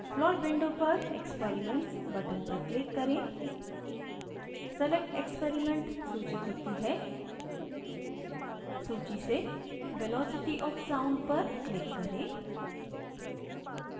plot window पर experiments button पर click करें